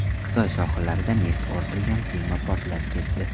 Xitoy sohillarida neft ortilgan kema portlab ketdi.